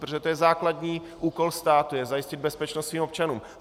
Protože to je základní úkol státu, jak zajistit bezpečnost svým občanům.